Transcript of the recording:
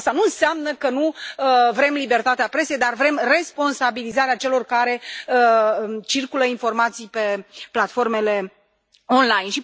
Asta nu înseamnă că nu vrem libertatea presei, dar vrem responsabilizarea celor care circulă informații pe platformele online.